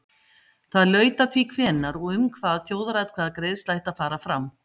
það laut að því hvenær og um hvað þjóðaratkvæðagreiðsla ætti að fara fram